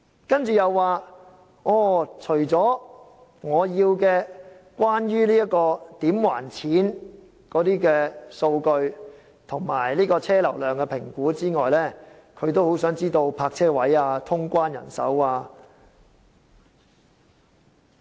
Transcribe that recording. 他接着又說，除了我要求提供關於"怎還錢"的數據及車流量的評估外，他也很想知道泊車位數目及通關人手等資料。